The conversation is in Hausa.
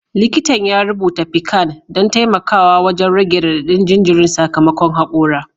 Likitan ya rubuta piccan don taimakawa wajen rage radadin jinjirin sakamakon hakora